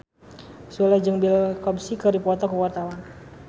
Sule jeung Bill Cosby keur dipoto ku wartawan